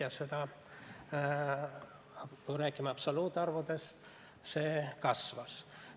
Ja see, kui räägime absoluutarvudes, kasvas.